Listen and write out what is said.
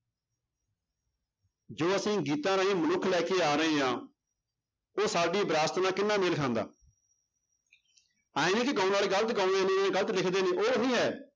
ਜੋ ਅਸੀਂ ਗੀਤਾਂ ਰਾਹੀਂ ਮਨੁੱਖ ਲੈ ਕੇ ਆ ਰਹੇ ਹਾਂ ਉਹ ਸਾਡੀ ਵਿਰਾਸਤ ਨਾਲ ਕਿੰਨਾ ਮੇਲ ਖਾਂਦਾ ਇਉਂ ਨੀ ਕਿ ਗਾਉਣ ਵਾਲੇ ਗ਼ਲਤ ਗਾਉਂਦੇ ਨੇ ਜਾਂ ਗ਼ਲਤ ਲਿਖਦੇ ਨੇ ਉਹ ਨੀ ਹੈ